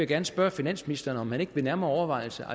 gerne spørge finansministeren om han ikke ved nærmere overvejelse